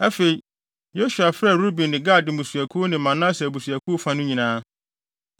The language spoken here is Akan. Afei, Yosua frɛɛ Ruben ne Gad mmusuakuw ne Manase abusuakuw fa no nyinaa.